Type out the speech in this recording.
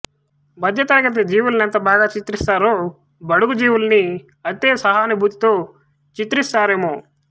మధ్యతరగతి జీవుల నెంత బాగా చిత్రిస్తారో బడుగు జీవుల్నీ అంతే సహానుభూతితో చిత్రిస్తారామె